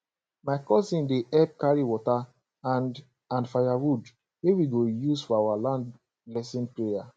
my cousins dey help carry water and and firewood wey we go use for our land blessing prayer